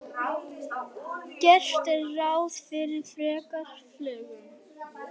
Gert er ráð fyrir frekari fjölgun